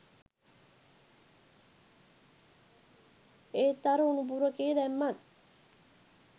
ඒත් අර උණපුරුකේ දැම්මත්